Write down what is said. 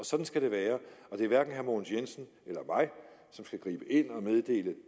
sådan skal det være og det er hverken herre mogens jensen eller mig som skal gribe ind og meddele